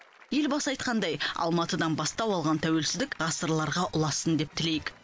елбасы айтқандай алматыдан бастау алған тәуелсіздік ғасырларға ұлассын деп тілейік